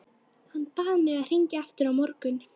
Hann bað mig að hringja aftur á morgun.